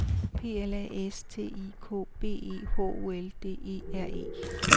P L A S T I K B E H O L D E R E